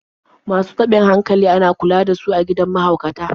Masu taɓin hankali ana kula da su a gidan mahaukata.